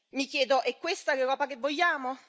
Mi chiedo è questa l'Europa che vogliamo?